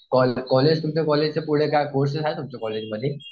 College college तुमच्या कॉलेजच्या पुढे काय कोर्सेस आहेत तुमच्या कॉलेजमध्ये?